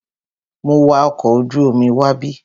Mo wa ọkọ̀ ojú omi wábí.